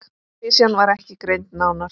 Klisjan var ekki greind nánar.